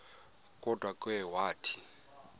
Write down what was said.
kodwa ke wathi